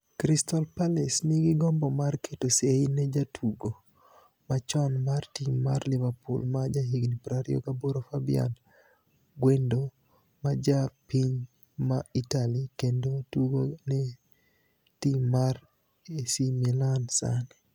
(Suni) Crystal palace niigi gombo mar keto sei ni e jatugo ma choni mar tim mar liverpool ma jahiga 28 Fabiani Gwenido ma ja piniy ma Itali kenido tugo ni e tim mar AC Milani Saanii.